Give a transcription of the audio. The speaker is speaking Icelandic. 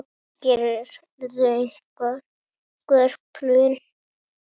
Gerirðu einhver plön?